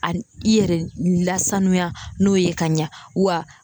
A i yɛrɛ lasanuya n'o ye ka ɲɛ wa